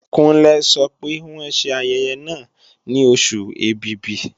Kúnlé sọ pé wọ́n ṣe ayẹyẹ náà ní Oṣù Ẹ̀bìbì